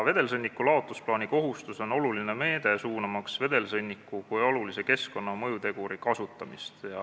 Vedelsõnniku laotusplaani kohustus on oluline meede, suunamaks vedelsõnniku kui olulise keskkonna mõjuteguri kasutamist.